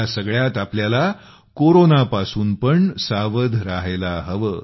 ह्या सगळ्यात आपल्याला कोरोनापासून पण सावध राहायला हवे